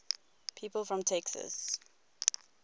people from texas